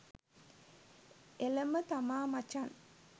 එලම තමා මචං